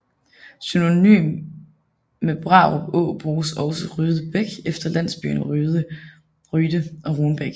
Synonym med Brarup Å bruges også Ryde Bæk efter landsbyen Ryde og Runbæk